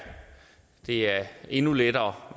det er endnu lettere